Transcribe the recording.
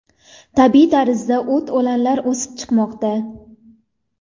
Tabiiy tarzda o‘t-o‘lanlar o‘sib chiqmoqda.